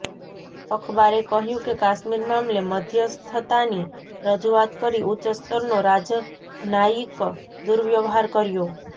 અખબારે કહ્યું કે કાશ્મીર મામલે મધ્યસ્થતાની રજૂઆત કરી ઉચ્ચ સ્તરનો રાજનાયિક દુર્વ્યવહાર કર્યો